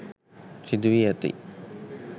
සිදු වී ඇති